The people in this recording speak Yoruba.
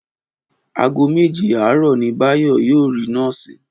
Aago méje aarò ni Báyò yóò rí nóòsì